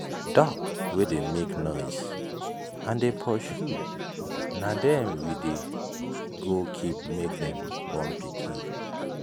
duck wey dey make noise and dey pursue na them we go keep make them born pikin.